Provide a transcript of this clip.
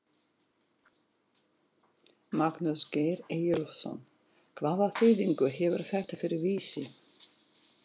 Magnús Geir Eyjólfsson: Hvaða þýðingu hefur þetta fyrir Vísi?